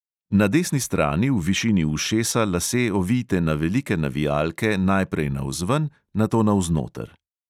Na desni strani v višini ušesa lase ovijte na velike navijalke najprej navzven, nato navznoter.